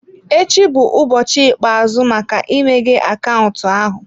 Echi bụ ụbọchị ikpeazụ maka imeghe akaụntụ ahụ.